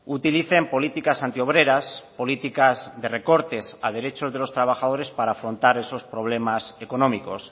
utilicen políticas anti obreras políticas de recortes a derechos de los trabajadores para afrontar esos problemas económicos